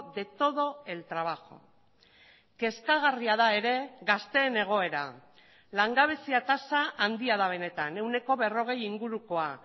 de todo el trabajo kezkagarria da ere gazteen egoera langabezia tasa handia da benetan ehuneko berrogei ingurukoa